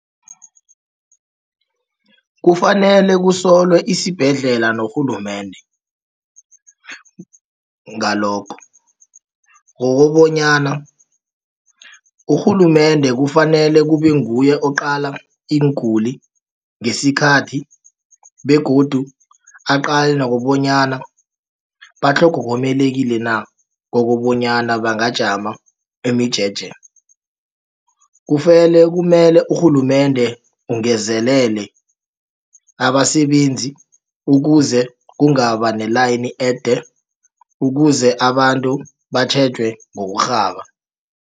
Kufanele kusolwa isibhedlela norhulumende ngalokho. Ngokobonyana urhulumende kufanele kubenguye oqala iinguli ngesikhathi begodu aqale nokobonyana na kobonyana bangajama imijeje kumele urhulumende ungezelele abasebenzi ukuze kungabanelayini ede ukuze abantu batjhejwe ngokurhaba.